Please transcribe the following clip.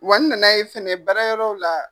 Wa n nan'ye fɛnɛ baara yɔrɔ la.